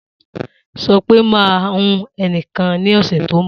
Sopé ma hun eni kan ní ọ̀sẹ̀ tí o nbọ̀